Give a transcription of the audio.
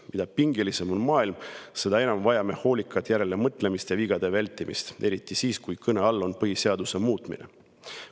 Mida pingelisem on maailm, seda enam vajame hoolikat järelemõtlemist ja vigade vältimist, eriti siis, kui kõne all on põhiseaduse muutmine.